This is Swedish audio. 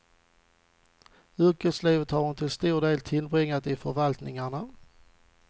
Yrkeslivet har hon till stor del tillbringat i förvaltningarna.